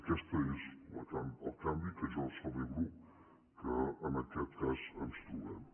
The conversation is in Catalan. aquest és el canvi que jo celebro que en aquest cas ens trobem